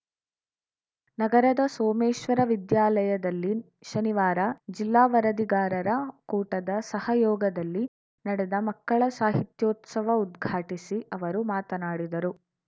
ನಗರದ ಸೋಮೇಶ್ವರ ವಿದ್ಯಾಲಯದಲ್ಲಿ ಶನಿವಾರ ಜಿಲ್ಲಾ ವರದಿಗಾರರ ಕೂಟದ ಸಹಯೋಗದಲ್ಲಿ ನಡೆದ ಮಕ್ಕಳ ಸಾಹಿತ್ಯೋತ್ಸವ ಉದ್ಘಾಟಿಸಿ ಅವರು ಮಾತನಾಡಿದರು